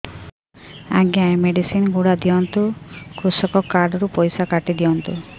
ଆଜ୍ଞା ଏ ମେଡିସିନ ଗୁଡା ଦିଅନ୍ତୁ କୃଷକ କାର୍ଡ ରୁ ପଇସା କାଟିଦିଅନ୍ତୁ